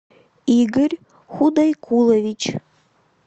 игорь худайкулович